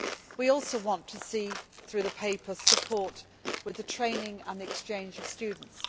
set in place. We also want to see, through the paper, support with the training and exchange